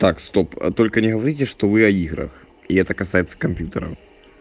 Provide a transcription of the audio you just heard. так стоп только не говорите что вы о играх и это касается компьютера